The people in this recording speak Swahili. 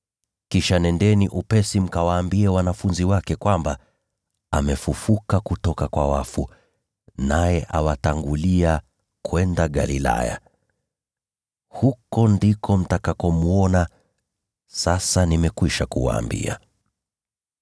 Kisha nendeni upesi mkawaambie wanafunzi wake kwamba, ‘Amefufuka kutoka kwa wafu, naye awatangulia kwenda Galilaya. Huko ndiko mtamwona. Sasa nimekwisha kuwaambia.’ ”